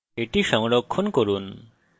এটি সংরক্ষণ করুন